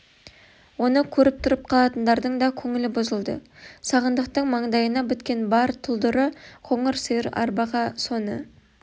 оны көріп тұрып қалатындардың да көңілі бұзылды сағындықтың маңдайына біткен бар тұлдыры қоңыр сиыр арбаға соны